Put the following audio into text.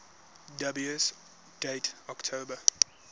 dubious date october